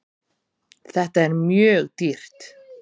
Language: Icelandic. Þetta er mjög dýrt.